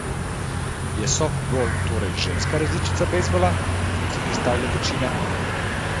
Je softbol torej ženska različica bejzbola, kot si predstavlja večina?